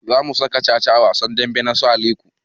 Za mu saka caca a wasan damben su Aliko